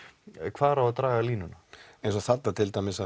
hvar á að draga línuna eins og þarna til dæmis